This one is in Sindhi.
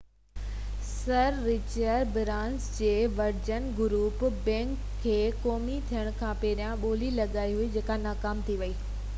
سر رچرڊ برانسن جي ورجن گروپ بئنڪ کي قومي ٿيڻ کان پهرين ٻولي لڳائي هئي جيڪا رد ٿي ويئي هئي